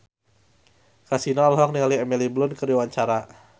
Kasino olohok ningali Emily Blunt keur diwawancara